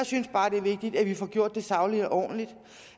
synes bare det er vigtigt at vi får gjort det sagligt og ordentligt